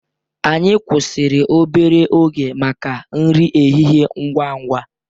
Anyị kwụsịrị obere oge maka nri ehihie ngwa ngwa.